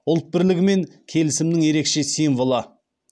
ұлт бірлігі мен келісімінің ерекше символы